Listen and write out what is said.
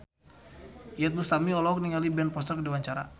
Iyeth Bustami olohok ningali Ben Foster keur diwawancara